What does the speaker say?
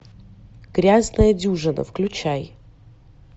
грязная дюжина включай